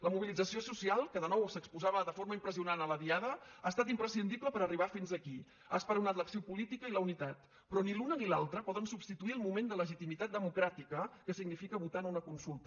la mobilització social que de nou s’exposava de forma impressionant a la diada ha estat imprescindible per arribar fins aquí ha esperonat l’acció política i la unitat però ni l’una ni l’altra poden substituir el moment de legitimitat democràtica que significa votar en una consulta